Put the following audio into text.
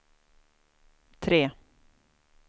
tre